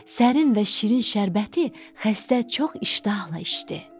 Sərin və şirin şərbəti xəstə çox iştahla içdi.